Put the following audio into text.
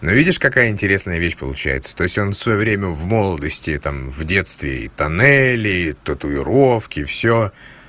но видишь какая интересная вещь получается то есть он в своё время в молодости там в детстве и тоннели и татуировки всё